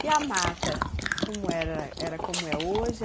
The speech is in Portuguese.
E a mata, como era? Era como é hoje?